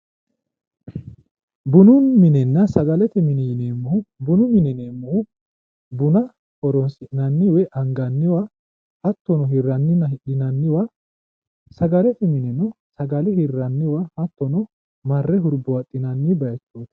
Bununna minenna sagalete mine yineemmohu bununna mine yiineemmohu buna hironsi'nanniwa anganniwa hattono hirranniwanna hidhinanniwa sagalete mineno sagale hirranniwa hattono marre hurbaaxxinanni bayichooti